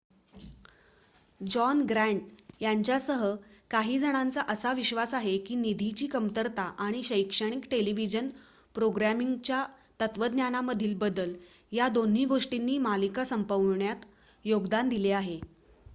John Grant यांच्यासह काही जणांचा असा विश्वास आहे की निधीची कमतरता आणि शैक्षणिक टेलिव्हिजन प्रोग्रामिंगच्या तत्त्वज्ञानामधील बदल या दोन्ही गोष्टींनी मालिका संपविण्यात योगदान दिले आहे